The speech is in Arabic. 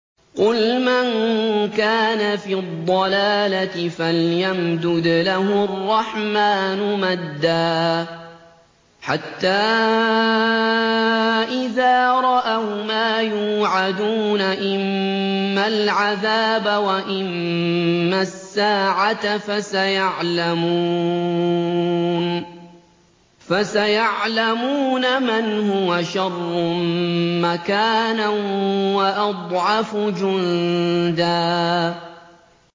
قُلْ مَن كَانَ فِي الضَّلَالَةِ فَلْيَمْدُدْ لَهُ الرَّحْمَٰنُ مَدًّا ۚ حَتَّىٰ إِذَا رَأَوْا مَا يُوعَدُونَ إِمَّا الْعَذَابَ وَإِمَّا السَّاعَةَ فَسَيَعْلَمُونَ مَنْ هُوَ شَرٌّ مَّكَانًا وَأَضْعَفُ جُندًا